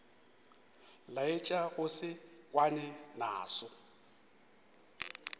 laetša go se kwane naso